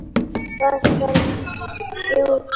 Hvað skal kjósa?